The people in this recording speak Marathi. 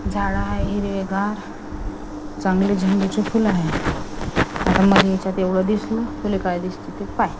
झाड आहे हिरवेगार चांगले झेंडूचे फुल आहे आता मला याच्यात एवढं दिसलं तुला काय दिसतं ते पाहे.